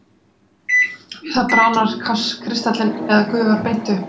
við það bráðnar kristallinn eða gufar beint upp